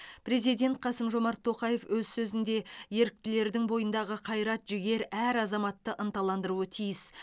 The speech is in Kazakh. президент қасым жомарт тоқаев өз сөзінде еріктілердің бойындағы қайрат жігер әр азаматты ынталандыруы тиіс